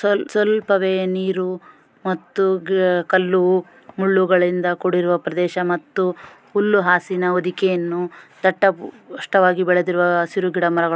ಸ್ವಲ್ಪ ಸ್ವಲ್ಪವೇ ನೀರು ಮತ್ತು ಕಲ್ಲು ಮುಳ್ಳುಗಳಿಂದ ಕೂಡಿರುವ ಪ್ರದೇಶ ಮತ್ತು ಹುಲ್ಲು ಹಾಸಿನ ಹೊದಿಕೆಯನ್ನು ದಟ್ಟ ಪುಷ್ಟವಾಗಿ ಬೆಳೆದಿರುವ ಹಸಿರು ಗಿಡ ಮರಗಳು--